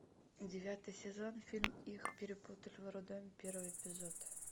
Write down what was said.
девятый сезон фильм их перепутали в роддоме первый эпизод